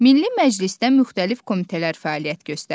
Milli Məclisdə müxtəlif komitələr fəaliyyət göstərir.